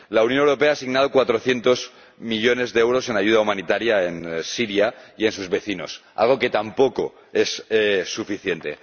La Unión Europea ha asignado 400 millones de euros en ayuda humanitaria a Siria y a sus vecinos, algo que tampoco es suficiente.